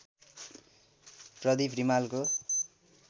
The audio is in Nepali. प्रदीप रिमालको